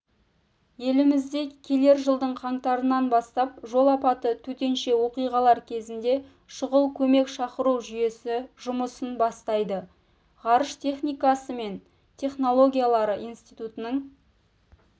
елімізде келер жылдың қаңтарынан бастап жол апаты төтенше оқиғалар кезінде шұғыл көмек шақыру жүйесі жұмысын бастайды ғарыш техникасы мен технологиялары институтының